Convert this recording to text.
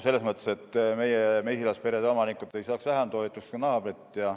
Selles mõttes, et meie mesilasperede omanikud ei saaks vähem toetust kui naabrid.